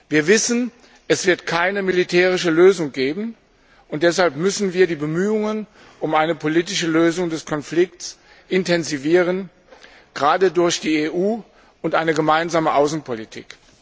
Wir wissen, es wird keine militärische Lösung geben, und deshalb müssen wir die Bemühungen um eine politische Lösung des Konflikts intensivieren, gerade durch die EU und eine gemeinsame Außenpolitik.